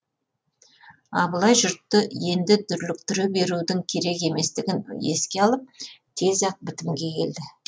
абылай жұртты енді дүрліктіре берудің керек еместігін еске алып тез ақ бітімге келді